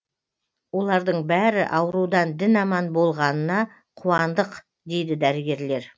олардың бәрі аурудан дін аман болғанына қуандық дейді дәрігерлер